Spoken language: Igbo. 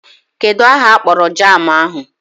Kedụ aha akpọrọ jaamụ ahụ?